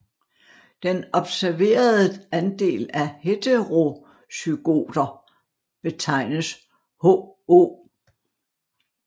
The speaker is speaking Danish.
Den observerede andel af heterozygoter betegnes Ho